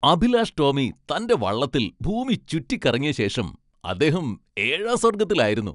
അഭിലാഷ് ടോമി തന്റെ വള്ളത്തിൽ ഭൂമി ചുറ്റിക്കറങ്ങിയ ശേഷം അദ്ദേഹം ഏഴാം സ്വർഗ്ഗത്തിലായിരുന്നു.